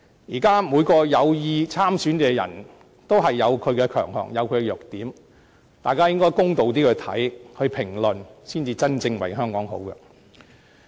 現時每位有意參選的候選人均各有其強項和弱點，大家應比較公道地看待和評論，這才是真正為香港好。